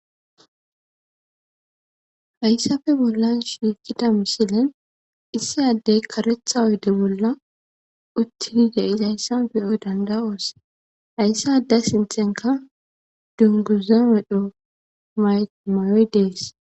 hayssafe bollan shiiqida misilen issa addey karetha oyde bolla uttidi de'izayssan beyoy danda'oos hayssa adde sinthenka dunguza medho mayoy dees